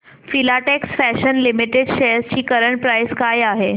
Filatex Fashions Limited shares ची current price काय आहे